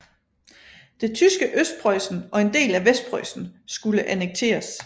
Det tyske Østpreussen og en del af Vestpreussen skulle annekteres